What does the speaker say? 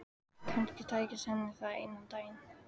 Kannski tækist henni það einn daginn.